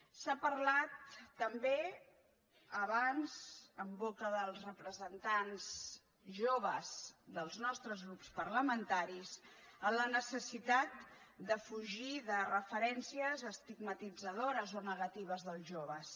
s’ha parlat també abans en boca dels representants joves dels nostres grups parlamentaris de la necessitat de fugir de referències estigmatitzadores o negatives dels joves